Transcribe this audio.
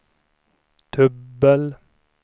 dubbel